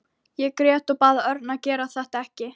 Ég grét og bað Örn að gera þetta ekki.